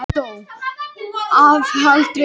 Ég hef aldrei heyrt á hana minnst.